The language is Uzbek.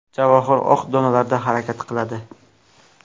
Javohir oq donalarda harakat qiladi.